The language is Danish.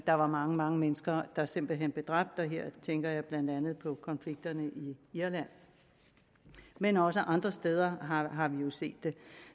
der var mange mange mennesker der simpelt hen blev dræbt her tænker jeg blandt andet på konflikterne i irland men også andre steder har vi jo set det